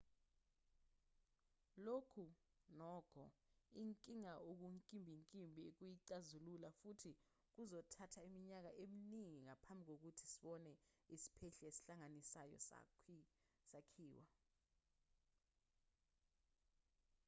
lokhu nokho inkinga okunkimbinkimbi ukuyixazulula futhi kuzothatha iminyaka eminingi ngaphambi kokuba sebone isiphehli esihlanganisayo sakhiwa